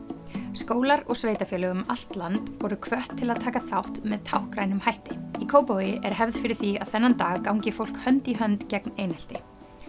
skólar og sveitarfélög um allt land voru hvött til að taka þátt með táknrænum hætti í Kópavogi er hefð fyrir því að þennan dag gangi fólk hönd í hönd gegn einelti